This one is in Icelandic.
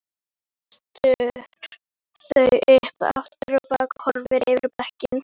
Setur þau upp aftur og horfir yfir bekkinn.